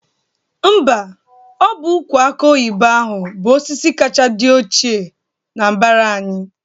Mba, ọ bụ ụkwụ akụ oyibo ahụ bụ osisi kacha dị ochie n'mbara anyị